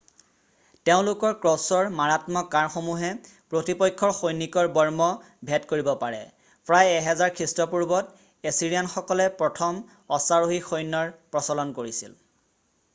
তেওঁলোকৰ ক্ৰছ্ব'ৰ মাৰাত্মক কাড়সমূহে প্ৰতিপক্ষৰ সৈনিকৰ বৰ্ম ভেদ কৰিব পাৰে প্ৰায় 1000 খ্ৰীষ্টপূৰ্বত এছিৰিয়ানসকলে প্ৰথম অশ্বাৰোহী সৈন্যৰ প্ৰচলন কৰিছিল